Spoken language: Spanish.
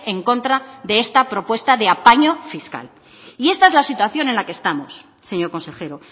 en contra de esta propuesta de apaño fiscal y esta es la situación en la que estamos señor consejero